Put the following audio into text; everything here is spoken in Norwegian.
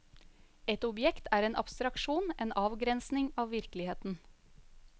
Et objekt er en abstraksjon, en avgrensning av virkeligheten.